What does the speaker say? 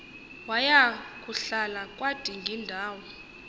waya kuhlala kwadingindawo